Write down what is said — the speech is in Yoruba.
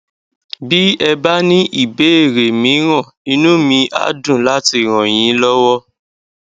bí ẹ bá ní ìbéèrè mìíràn inú mi á dùn láti ràn yín lọwọ